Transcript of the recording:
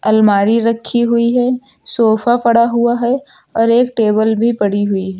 अलमारी रखी हुई है सोफा पड़ा हुआ है और एक टेबल भी पड़ी हुई है।